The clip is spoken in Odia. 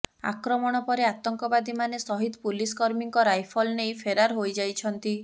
ଆକ୍ରମଣ ପରେ ଆତଙ୍କବାଦୀମାନେ ସହିଦ୍ ପୁଲିସକର୍ମୀଙ୍କ ରାଇଫଲ ନେଇ ଫେରାର ହୋଇଯାଇଛନ୍ତି